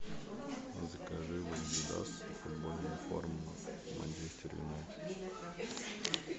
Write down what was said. закажи в адидас футбольную форму манчестер юнайтед